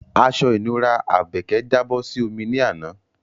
Aṣọ ìnura Àbèkẹ́ jábọ́ sí omi ní àná